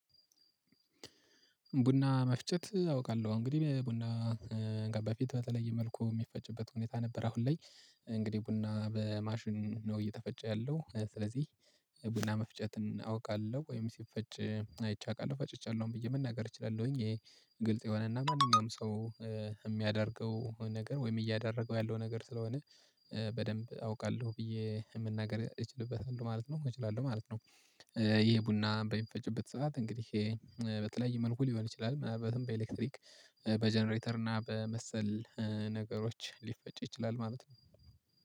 ቡና መፍጨት አውቃለሁ እንግዲህ ቡና በፊት በተለየ መልኩ የሚፈጭበት ሁኔታ ነበር። አሁን ላይ እንግዲህ ቡና በማሽን ነው እየተፈጨ ያለው ስለዚህ። ቡና መፍጨትን አውቃለሁ ወይም ሲፈጭ አይቼ አውቃለሁ ፈጭቻለሁም ብዬ መናገር እችላለሁኝ። ይሄ ግልጽ የሆነና ማንኛውም ሰው የሚያደርገው ነገር ወይም እያደረገው ያለው ነገር ስለሆነ በደንብ አውቃለሁ ብዬ መናገር እችልበታለሁ ማለት ነው እችላለሁ ማለት ነው። ይሄ ቡና በሚፈጭበት ሰዓት እንግዲህ በተላለይ መልኩ ሊሆን ይችላል ማለትም በኤሌክትሪክ በጀነሬተር እና በመሰል ነገሮች ሊፈጭ ይችላል ማለት ነው።